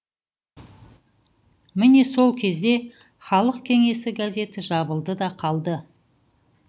міне сол кезде халық кеңесі газеті жабылды да қалды